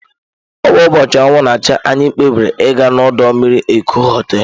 Ọ bụ ụbọchị anwụ na-acha, anyị kpebiri ịga na ọdọ mmiri Eko hoteelu.